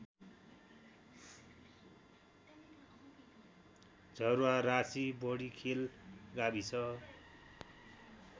झरुवारासी बडिखेल गाविस